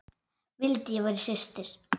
Vildi ég væri systir.